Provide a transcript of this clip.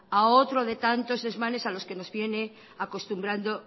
a otro de tantos desmanes a los que nos viene acostumbrando